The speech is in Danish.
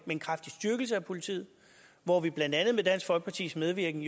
en kraftig styrkelse af politiet hvor vi blandt andet med dansk folkepartis medvirken